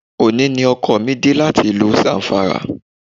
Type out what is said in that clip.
Òní ni ọkọ mi dé láti ìlú Zamfara